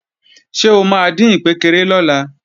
Ṣé o máa dín ìkpékeré lọ́la?